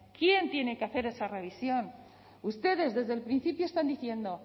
quién tiene que hacer esa revisión ustedes desde el principio están diciendo